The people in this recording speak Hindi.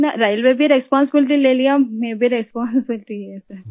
इतना रेलवे भी रिस्पांसिबिलिटी ले लिया मैं भी रिस्पांसिबिलिटी लिया सर